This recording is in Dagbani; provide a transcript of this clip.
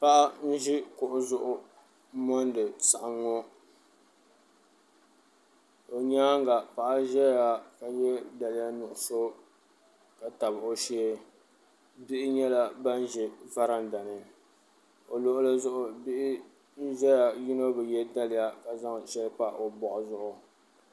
Paɣa n ʒi kuɣu zuɣu m mondi saɣim ŋɔ o nyaanga paɣa zaya ka ye daliya nuɣuso ka tabi o shee bihi nyɛla ban ʒɛ varanda ni o luɣuli zuɣu bihi n zaya yino bi ye daliya ka zaŋ sheli pa o boɣu zuɣu.